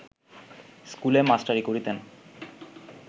স্কুলে মাস্টারি করিতেন